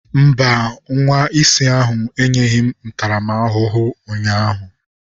Mba, nwa isi ahụ enyeghị m ntaramahụhụ ụnyaahụ.